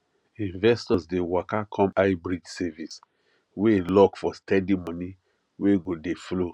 investors dey waka come highyield savings wey lock for steady money wey go dey flow